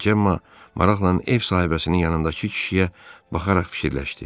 Cemmma maraqlan ev sahibəsinin yanındakı kişiyə baxaraq düşündü.